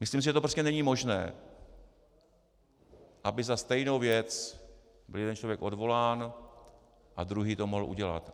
Myslím si, že to prostě není možné, aby za stejnou věc byl jeden člověk odvolán a druhý to mohl udělat.